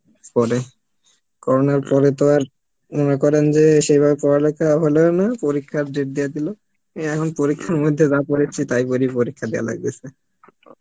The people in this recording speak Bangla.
পরে করোনার পরে তো আর, মনে করেন যে সেই ভাবে পড়ালেখা, হলোও না পরীক্ষার date দিয়া দিলো এই এখন পরীক্ষার মধ্যে যা পরেছি তাই বুঝি পরীক্ষার দিয়া লাগতেসে